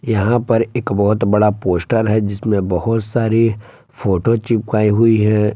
यहां पर एक बहुत बड़ा पोस्टर है जिसमें बहुत सारी फोटो चिपकाई हुईं हैं ।